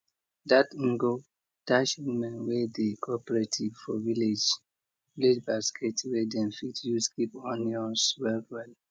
that ngo dash women wey dey cooperative for village village basket wey dem fit use keep onions well well